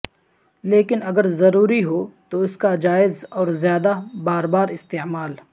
لیکن اگر ضروری ہو تو اس کا جائز اور زیادہ بار بار استعمال